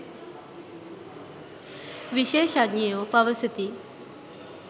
විශේෂඥයෝ පවසති.